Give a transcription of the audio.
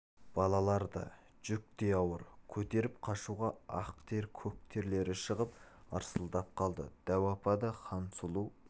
балалар да жүк те ауыр көтеріп қашуға ақ тер көк терлері шығып ырсылдап қалды дәу апа да хансұлу